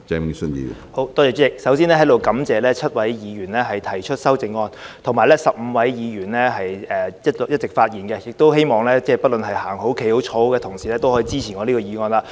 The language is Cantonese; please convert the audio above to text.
主席，首先在這裏感謝7位議員提出修正案，以及15位議員發言，亦希望不論是走着、站着、坐着的同事也能夠支持我提出的議案。